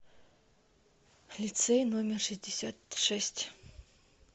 лицей номер шестьдесят шесть